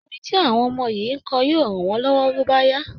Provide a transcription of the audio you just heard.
Orin tí àwọn ọmọ yìí ń kọ yóò ràn wọ́n lọ́wọ́ bó bá yá